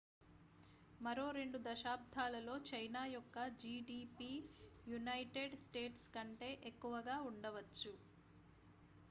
మరో 2 దశాబ్దాలలో చైనా యొక్క gdp యునైటెడ్ స్టేట్స్ కంటే ఎక్కువగా ఉండవచ్చు